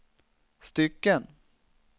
stycken